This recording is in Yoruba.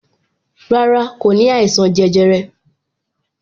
Rárá, kò ní àìsàn jẹjẹrẹ